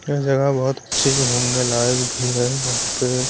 यह जगह बहुत अच्छी घूमने लायक भी है यहां पे--